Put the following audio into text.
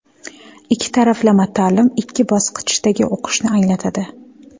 Ikki taraflama ta’lim ikki bosqichdagi o‘qishni anglatadi.